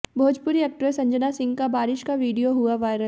Bhojpuri actress Anjana Singh का बारिश का वीडियो हुआ वायरल